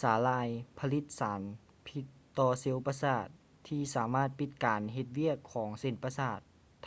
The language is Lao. ສາຫຼ່າຍຜະລິດສານພິດຕໍ່ເຊວປະສາດທີ່ສາມາດປິດການເຮັດວຽກຂອງເສັ້ນປະສາດ